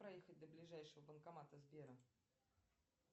проехать до ближайшего банкомата сбера